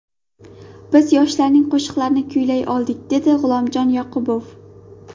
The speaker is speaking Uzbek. Biz yoshlarning qo‘shiqlarini kuylay oldik”, dedi G‘ulomjon Yoqubov.